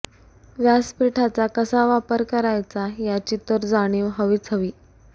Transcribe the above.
व्यासपीठाचा कसा वापर करायचा याची तर जाणीव हवीच हवी